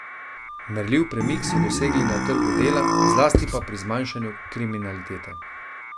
Merljiv premik so dosegli na trgu dela, zlasti pa pri zmanjšanju kriminalitete.